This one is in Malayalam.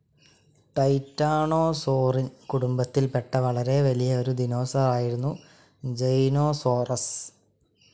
ടൈറ്റാണോസോറീൻ കുടുംബത്തിൽ പെട്ട വളരെ വലിയ ഒരു ദിനോസറായിരുന്നു ജൈനോസോറസ്.